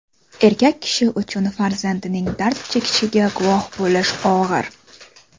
Erkak kishi uchun farzandining dard chekishiga guvoh bo‘lish og‘ir.